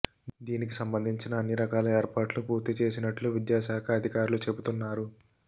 దీనికి సంబంధించి అన్ని రకాల ఏర్పాట్లు పూర్తి చేసినట్లు విద్యాశాఖ అధికారులు చెబుతున్నారు